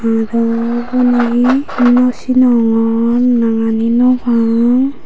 aro uboni he naw sinongor nangani naw pang.